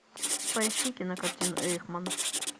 поищи кинокартину эйхман